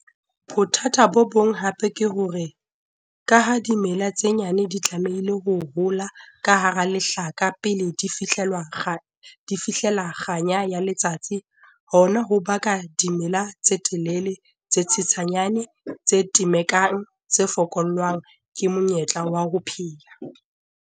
Bothata bo bong hape ke hore, ka ha dimela tse nyane di tlamehile ho hola ka hara lehlaka pele di fihlella kganya ya letsatsi, hona ho baka dimela tse telele, tse tshesanyane, tse temekang, tse fokollwang ke monyetla wa ho phela.